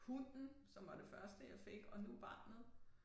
Hunden som var det første jeg fik og nu barnet